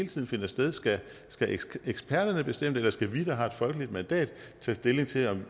tiden finder sted skal eksperterne bestemme det eller skal vi der har et folkeligt mandat tage stilling til